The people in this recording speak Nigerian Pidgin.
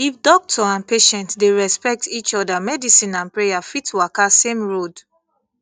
if doctor and patient dey respect each other medicine and prayer fit waka same road